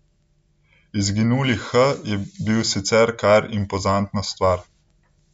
Izginuli H je bil sicer kar impozantna stvar.